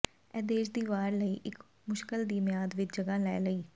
ਇਹ ਦੇਸ਼ ਦੀ ਵਾਰ ਲਈ ਇੱਕ ਮੁਸ਼ਕਲ ਦੀ ਮਿਆਦ ਵਿੱਚ ਜਗ੍ਹਾ ਲੈ ਲਈ